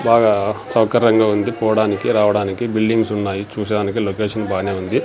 బాగా సౌకర్యంగా ఉంది పోవడానికి రావడానికి బిల్డింగ్స్ ఉన్నాయి చూసేదానికి లొకేషన్ బానే ఉంది.